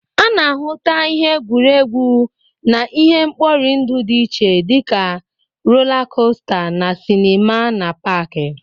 A na-ahụta ihe egwuregwu na ihe nkpọrị ndụ dị iche dị ka rola kosta, na sinima na pak.